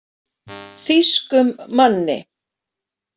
Þýskum manni.